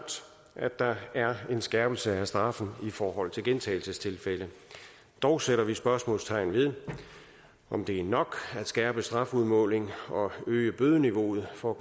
at der er en skærpelse af straffen i forhold til gentagelsestilfælde dog sætter vi spørgsmålstegn ved om det er nok at skærpe strafudmålingen og øge bødeniveauet for